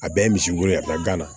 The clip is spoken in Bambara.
A bɛɛ ye misiw ye a bɛ taa gana